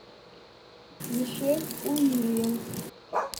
мишель уильямс